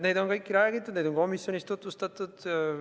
Neid on kõiki räägitud, neid on komisjonis tutvustatud.